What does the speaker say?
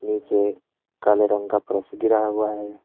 नीचे काले रंग का फर्श गिरा हुआ है।